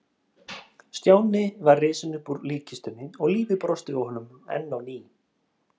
Stjáni var risinn upp úr líkkistunni og lífið brosti við honum enn á ný.